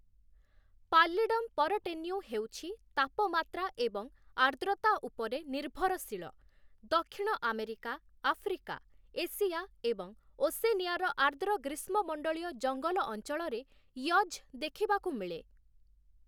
Pallidum ପରଟେନ୍ୟୁ' ହେଉଛି ତାପମାତ୍ରା ଏବଂ ଆର୍ଦ୍ରତା ଉପରେ ନିର୍ଭରଶୀଳ । ଦକ୍ଷିଣ ଆମେରିକା, ଆଫ୍ରିକା, ଏସିଆ, ଏବଂ ଓସେନିଆର ଆର୍ଦ୍ର ଗ୍ରୀଷ୍ମମଣ୍ଡଳୀୟ ଜଙ୍ଗଲ ଅଞ୍ଚଳରେ ୟଜ୍ ଦେଖିବାକୁ ମିଳେ ।